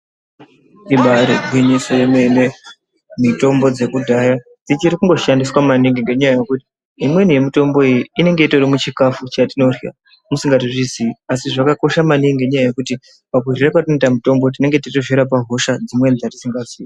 Ibari gwinyiso yemene mitombo dzekudhaya dzichiri kushandiswa maningi ngenyaya yekuti imweni yemitombo iyi inenge irimukatimwechikafu chimweni chatinorya musingatozvizi asi zvakakosha maningi ngenyaya yekuti pakurya kwatinoita mitombo tinenge tichizvirapa hosha dzimweni dzetisingazii.